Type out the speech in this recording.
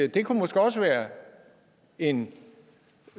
det kunne måske også være en